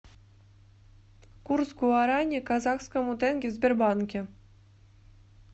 курс гуарани к казахскому тенге в сбербанке